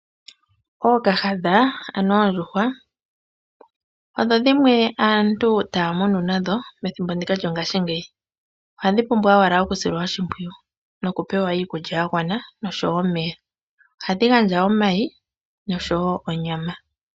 Ookahadha, ano oondjuhwa odho dhimwe aantu taya munu nadho methimbo ndika lyongashingeyi. Ohadhi pumbwa owala okusilwa oshimpwiyu noku pewa iikulya yagwana noshowo omeya. Ohadhi gandja omayi noshowo onyama.